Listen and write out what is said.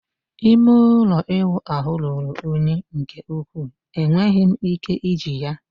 ime ụlọ ịwụ ahụ ruru unyi nke ukwuu, enweghị m ike iji ya